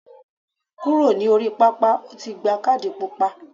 Kúrò ní orí pápá, o ti gba kádì pupa.